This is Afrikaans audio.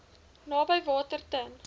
naby water ten